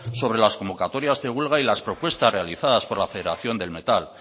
sobre las convocatorias de huelga y las propuestas realizadas por la federación del metal